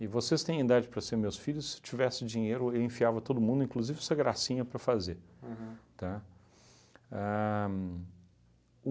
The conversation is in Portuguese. E vocês têm idade para serem meus filhos, se eu tivesse dinheiro eu enfiava todo mundo, inclusive essa gracinha para fazer. Aham. Tá? A